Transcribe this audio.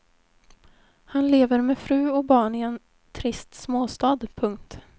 Han lever med fru och barn i en trist småstad. punkt